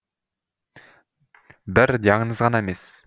бір диагноз ғана емес